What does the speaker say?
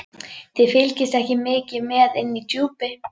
Þið fylgist ekki mikið með inni í Djúpi.